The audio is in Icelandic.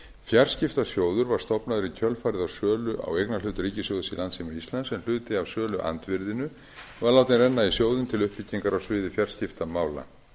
fjarskiptasjóður var stofnaður í kjölfarið á sölu á eignarhlut ríkissjóðs í landssíma íslands en hluti af söluandvirðinu var látinn renna í sjóðinn til uppbyggingar á sviði fjarskiptamála